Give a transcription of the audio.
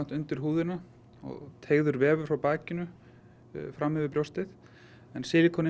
undir húðina og teygður vefur frá bakinu fram yfir brjóstið